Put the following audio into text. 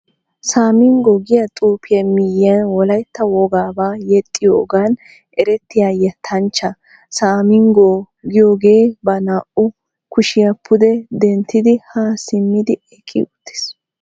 Samingo giya xuufiya miyiyan wolaytta wogaabaa yexxiyogan erettiya yettanchchaa samingo giyogee ba naa"u kushiya pude denttidi haa simmidi eqqi uttiis.